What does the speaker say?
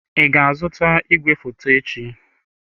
Ị ga-azụta igwefoto echi?